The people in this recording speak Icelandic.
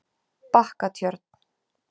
Bakkatjörn